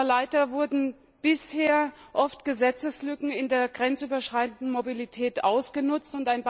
Aber leider wurden bisher oft Gesetzeslücken in der grenzüberschreitenden Mobilität ausgenutzt.